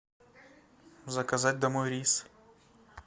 заказать домой рис